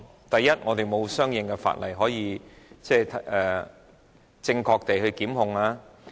第一，我們並無相應法例可據以正確地提出檢控。